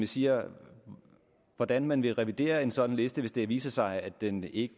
siger hvordan man vil revidere en sådan liste hvis det viser sig at den ikke